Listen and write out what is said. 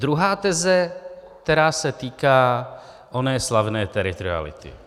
Druhá teze, která se týká oné slavné teritoriality.